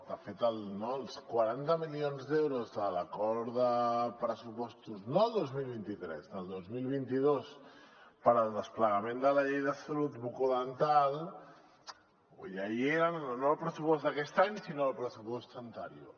de fet els quaranta milions d’euros de l’acord de pressupostos no del dos mil vint tres del dos mil vint dos per al desplegament de la llei de salut bucodental ja hi eren no al pressupost d’aquest any sinó al pressupost anterior